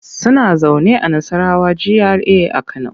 Suna zaune a Nassarawa GRA a Kano.